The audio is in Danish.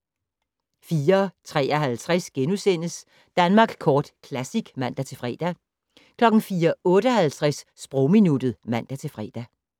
04:53: Danmark Kort Classic *(man-fre) 04:58: Sprogminuttet (man-fre)